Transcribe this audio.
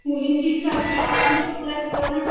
मुलींची इच्छा असूनही त्यांना शिकवत नाहीत